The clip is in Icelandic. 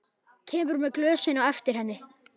Kemur með glösin á eftir henni.